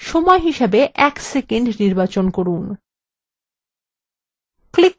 সময় হিসাবে এক সেকন্ড নির্বাচন করুন